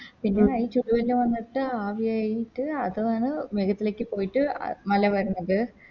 പിന്നെ ഈ ചുടു വെല്ലം വന്നിട്ട് ആവിയായിട്ട് അതാണ് മേഘത്തിലേക്ക് പോയിട്ട് മല വരുന്നത്